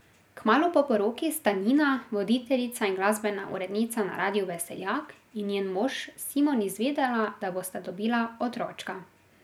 Kmalu po poroki sta Nina, voditeljica in glasbena urednica na radiu Veseljak, in njen mož Simon izvedela, da bosta dobila otročka.